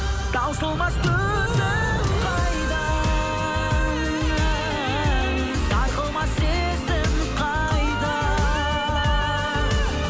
таусылмас төзім қайда сарқылмас сезім қайда